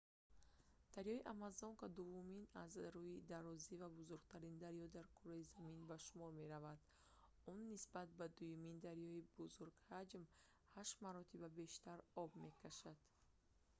дарёи амазонка дуввумин аз рӯи дарозӣ ва бузургтарин дарё дар кураи замин ба шумор меравад он нисбат ба дуюмин дарёи бузургҳаҷм 8 маротиба бештар об мекашонад